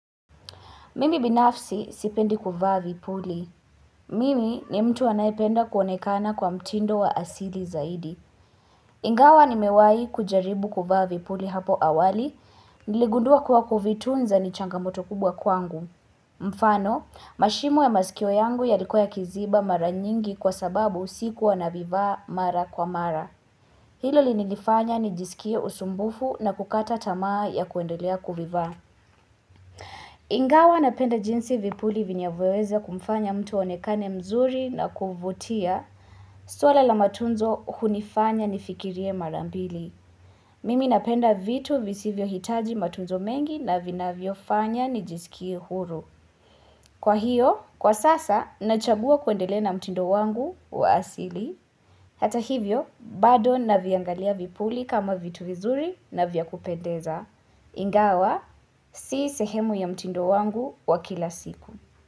Mimi binafsi sipendi kuvaa vipuli. Mimi ni mtu anaependa kuonekana kwa mtindo wa asili zaidi. Ingawa nimewahi kujaribu kuvaa vipuli hapo awali, niligundua kuwa kuvitunza ni changamoto kubwa kwangu. Mfano, mashimo ya masikio yangu yalikoya yakiziba mara nyingi kwa sababu sikuwa navivaa mara kwa mara. Hilo linilifanya ni jisikie usumbufu na kukata tamaa ya kuendolea kuvivaa. Ingawa napenda jinsi vipuli vinyavoweza kumfanya mtu aonekane mzuri na kuvutia swala la matunzo hunifanya nifikirie mara mbili Mimi napenda vitu visivyo hitaji matunzo mengi na vinavyofanya nijisikie huru Kwa hiyo, kwa sasa, nachagua kuendelea na mtindo wangu wa asili Hata hivyo, bado naviangalia vipuli kama vitu vizuri na vya kupendeza Ingawa si sehemu ya mtindo wangu wa kila siku.